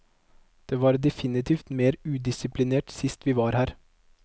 Det var definitivt mer udisiplinert sist vi var her.